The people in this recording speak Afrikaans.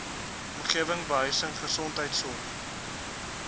omgewing behuising gesondheidsorg